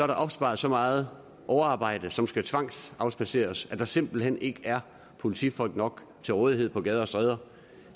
der opsparet så meget overarbejde som skal tvangsafspadseres at der simpelt hen ikke er politifolk nok til rådighed på gader og stræder